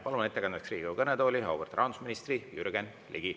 Palun ettekandeks Riigikogu kõnetooli auväärt rahandusministri Jürgen Ligi.